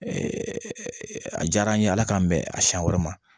a diyara an ye ala k'an bɛn a siɲɛ wɛrɛ ma